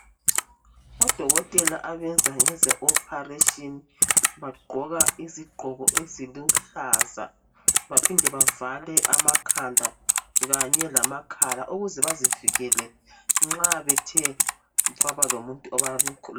Odokotela abenza ngeze "operation" bagqoka izigqoko eziluhlaza baphinde bavale amakhanda kanye lama khala ukuze bazivikele nxa bethe kwabalomuntu